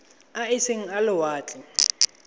a e seng a lewatle